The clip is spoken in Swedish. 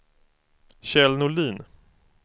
Kjell Norlin